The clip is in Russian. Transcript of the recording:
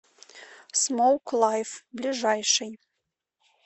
смоук лайф ближайший